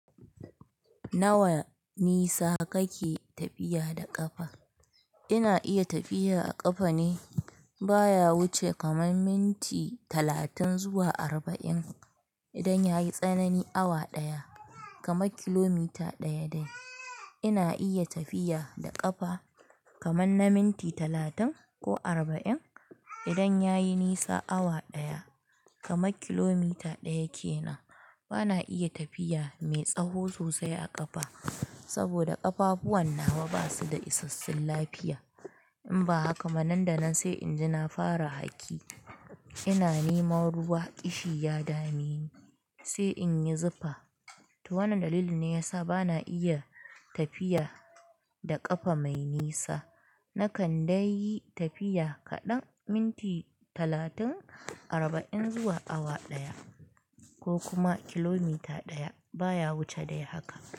Nawa nisa kake tafiya da ƙafa? Ina iya tafiya a ƙafa ne, baya wuce kamar minti talatin zuwa arba'in idan yayi tsanani awa ɗaya, kamar kilomita ɗaya dai. Ina iya tafiya da ƙafa, kaman na minti talatin, ko arba'in, idan yayi nisa awa ɗaya, kamar kilomita ɗaya ke na. Bana iya tafiya mai tsaho sosai a ƙafa, saboda ƙafafuwan nawa basu da isassun lafiya. In ba haka ma, nan da nan sai inji na fara haƙi. Ina neman ruwa, ƙishi ya dame ni, sai in yi zufa. Toh, wannan dalilin ne yasa bana iya tafiya da ƙafa mai nisa. Na kan dai yi tafiya kaɗan minti talatin, arba'in, zuwa awa ɗaya, ko kuma kilomita ɗaya, baya wuce dai haka.